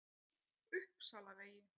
Uppsalavegi